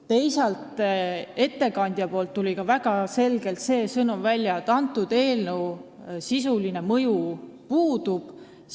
Teisalt, ettekandja sõnavõtust tuli väga selgelt välja sõnum, et sellel eelnõul sisuline mõju puudub.